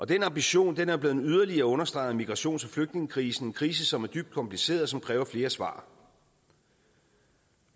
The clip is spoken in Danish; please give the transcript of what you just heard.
den ambition er blevet yderligere understreget af migrations og flygtningekrisen krise som er dybt kompliceret og som kræver flere svar